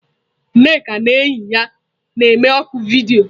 Nneka na enyi ya na-eme oku vidiyo.